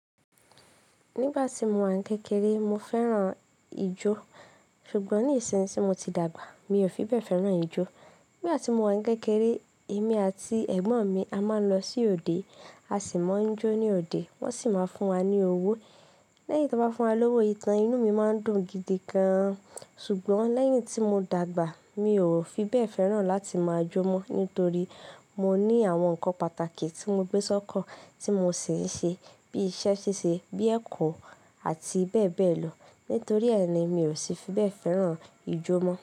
Nígbà tí mo wà ní kékeré, mo fẹ́ràn ijó, ṣùgbọ́n nsìnsinyi í mo ti dàgbà, mi ò fi bẹ́ẹ̀ fẹ́ràn ijó. Ní igbà ti mo wà ní kékeré, èmi àti ẹ̀gbọ́n mi a máa ń lọ sí òde, a sì máa ń jó ní òde, wọ́n sì máa ń fún wa ní owó. Lẹ́yìn tí wọ́n bá fún wa lówó ìtàn, inú mi máa ń dùn gidi gan an. Ṣùgbọ́n lẹ́yìn tí mo dàgbà, mi ò fi bẹ́ẹ̀ fẹ́ràn láti máa jó mọ́, nítorí mo ní àwọn ǹnkan pàtàkì tí mo gbé sọ́kan tí mo ṣì ń ṣe, bí i iṣẹ́ ṣíṣe, bíi ẹ̀kọ́ àti bẹ́ẹ̀ bẹ́ẹ̀ lọ. Nítorí ẹ́ ni, mi ò sì fi bẹ́ẹ̀ fẹ́ràn ijó mọ́.